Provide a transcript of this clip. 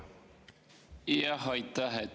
Aitäh!